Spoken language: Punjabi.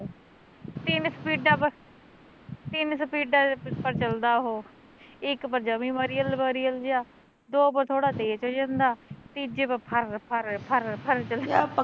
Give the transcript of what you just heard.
ਤਿੰਨ ਸਪੀਡਾ ਪਰ ਤਿੰਨ ਸਪੀਡਾ ਪਰ ਚੱਲਦਾ ਓਹ ਇੱਕ ਪਰ ਜਮੇ ਮਰੀਅਲ ਮਰੀਅਲ ਜਿਹਾ, ਦੋ ਪਰ ਥੋੜਾ ਤੇਜ਼ ਹੋ ਜੰਦਾ, ਤੀਜੇ ਪਰ ਫਰ ਫਰ ਫਰ ਫਰ ਚੱਲਦਾ